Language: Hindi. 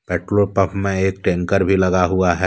पेट्रोल पंप में एक टैंकर भी लगा हुआ है।